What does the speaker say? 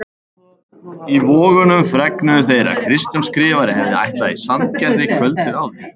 Í Vogunum fregnuðu þeir að Kristján Skrifari hefði ætlað í Sandgerði kvöldið áður.